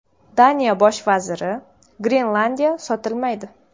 Daniya bosh vaziri: Grenlandiya sotilmaydi.